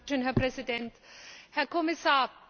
Herr Präsident, Herr Kommissar!